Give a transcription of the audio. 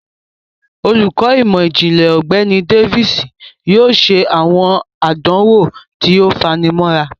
Olukọ imọ-jinlẹ Ọgbẹni Davis yoo ṣe awọn àdánwò tí o fanimọra.